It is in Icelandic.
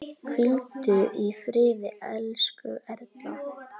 Hvíldu í friði, elsku Erla.